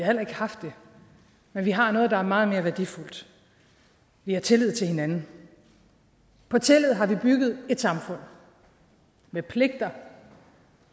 heller ikke haft det men vi har noget der er meget mere værdifuldt vi har tillid til hinanden på tillid har vi bygget et samfund med pligter